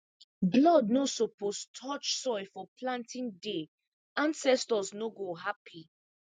blood no suppose touch soil for planting day ancestors no go happy